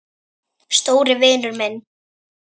Stóri vinur minn.